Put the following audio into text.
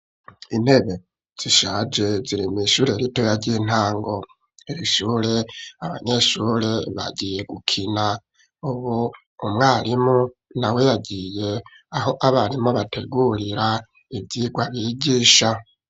Intebe zishaje ziri mw'ishure ritoya ry'intango, irishure abanyeshure bagiye gukina ,ubu umwarimu nawe yagiye aho abarimu bategurira ivyigwa bigisha.